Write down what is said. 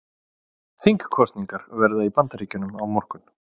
Þingkosningar verða í Bandaríkjunum á morgun